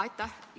Aitäh!